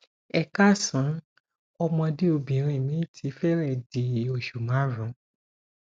ẹ káàsán ọmọde obinrin mi ti fẹrẹẹ di osu marun